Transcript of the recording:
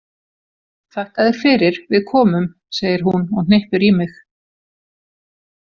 Þakka þér fyrir, við komum, segir hún og hnippir í mig.